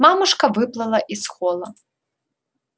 мамушка выплыла из холла